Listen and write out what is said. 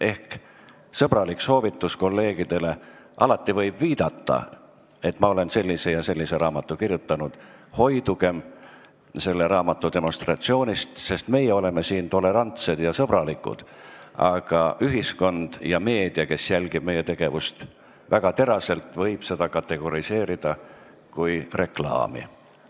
Ehk sõbralik soovitus kolleegidele: alati võib viidata, et ma olen sellise ja sellise raamatu kirjutanud, kuid hoidugem raamatu demonstratsioonist, sest meie oleme siin tolerantsed ja sõbralikud, aga ühiskond ja meedia, kes jälgivad meie tegevust väga teraselt, võivad seda kategoriseerida kui reklaami.